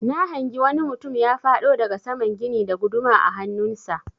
Na hangi wani mutum ya faɗo daga saman gini da guduma a hannun sa.